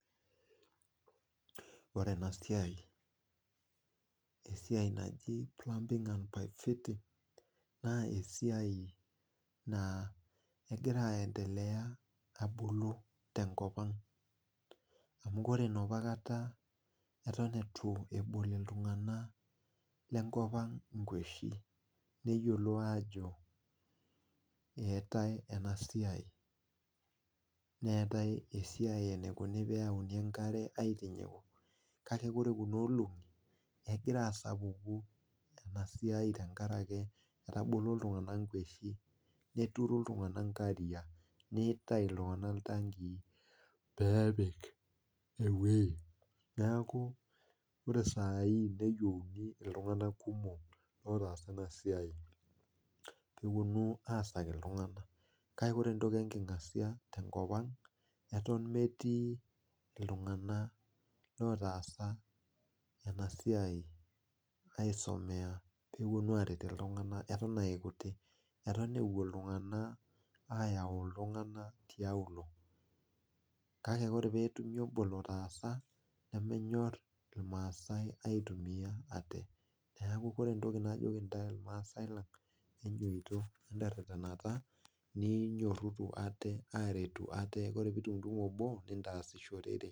Ore ena siai, esiai naji plumbing and pipe fitting naa kegira aendelea abulu tenkopang amu ore enapakata neton eitu ebol iltunganak lenkopang kweshi ajo eetae ena siai neeta enaikoni pee eyauni enkare aitinyiku ,kake ore kuna olongi egira asapuku enasiai tenkaraki etabolo kulo tunganak nkweshin neturu ltunganak nkariak neitobir iltunganak iltanki pee epik eweji ,neeku ore saai neyieuni iltunganak kumok ootaasa ena siai pee eponu aasaki iltunganak. kake ore entoki enkingasia tenkopang eton metii iltunganak otaasa ena siai aisomeya pee eponu aret iltunganak eton aa ikutik ,eton epuo ltunaganak ayau iltunganak tiauluo kake ore pee etumi obo litaasa nemenyor irmaasai aitumiyia ate ,neeku ore entoki najoki intae irmaasai lang enyototo ninyoruru ate aretu ate ore pee itumtumu obo niyasishorere.